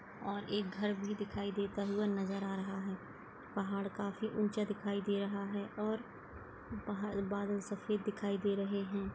और घर भी दिखाई देता हुआ नजर आ रहा है पहाड़ काफी ऊंचा दिखाई दे रहा है और बाहर बादल सफेद दिखाई दे रहे हैं।